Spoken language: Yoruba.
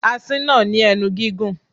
Asín náà ní ẹnu gígùn.